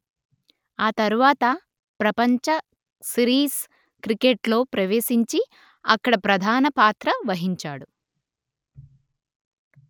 ఆ తరువాత ప్రపంచ సీరీస్ క్రికెట్‌లో ప్రవేశించి అక్కడ ప్రధాన పాత్ర వహించాడు